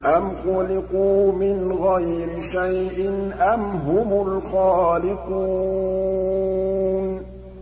أَمْ خُلِقُوا مِنْ غَيْرِ شَيْءٍ أَمْ هُمُ الْخَالِقُونَ